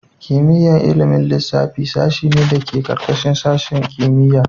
Kimiyyar ilimin lissafi sashe ne da ke ƙarƙashin sashin kimiyya.